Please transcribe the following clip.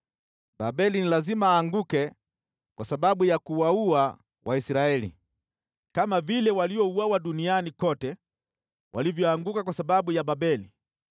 “Babeli ni lazima aanguke kwa sababu ya kuwaua Waisraeli, kama vile waliouawa duniani kote walivyoanguka kwa sababu ya Babeli.